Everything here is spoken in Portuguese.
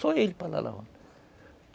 Só ele